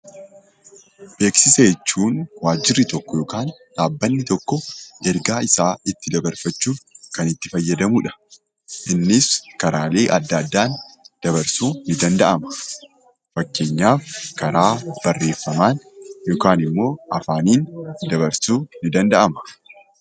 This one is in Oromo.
Beeksisa jechuun waajjirri tokko yokaan dhaabbanni tokko ergaa isaa itti dabarfachuuf kan itti fayyadamudha. Innis karaalee adda addaan dabarsuu ni danda'ama. Fakkeenyaaf karaa barreeffamaan yookaanimmoo afaaniin dabarsuu ni danda'ama.